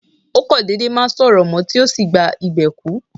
Ó kò dédé má sọ̀rọ̀ mó, tí ó sì gba ìbè kú.